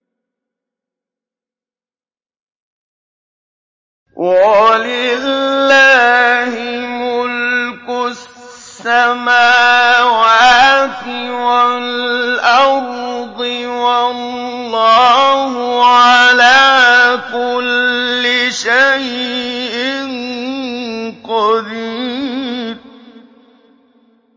وَلِلَّهِ مُلْكُ السَّمَاوَاتِ وَالْأَرْضِ ۗ وَاللَّهُ عَلَىٰ كُلِّ شَيْءٍ قَدِيرٌ